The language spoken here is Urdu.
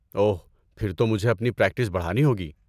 اوہ، پھر تو مجھے اپنی پریکٹس بڑھانی ہوگی۔